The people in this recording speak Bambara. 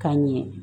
Ka ɲɛ